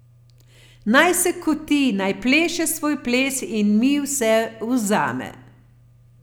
Naj se koti, naj pleše svoj ples in mi vse vzame.